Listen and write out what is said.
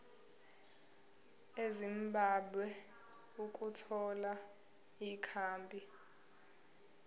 ezimbabwe ukuthola ikhambi